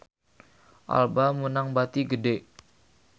Alba meunang bati gede